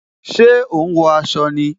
Ṣé o ń wọ aṣọ ni?